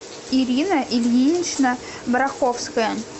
ирина ильинична бараховская